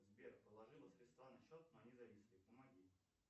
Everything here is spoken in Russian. сбер положила средства на счет но они зависли помоги